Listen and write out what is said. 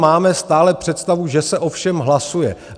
Máme stále představu, že se o všem hlasuje.